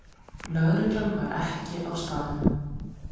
Lögreglan var ekki á staðnum